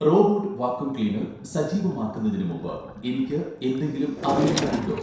robot vacuum cleaner സജീവമാക്കുന്നതിന് മുമ്പ് എനിക്ക് എന്തെങ്കിലും അറിയേണ്ടതുണ്ടോ